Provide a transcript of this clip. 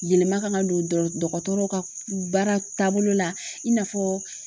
Yɛlɛma ka na don dɔ dɔgɔtɔrɔw ka baara taabolo la i n'a fɔ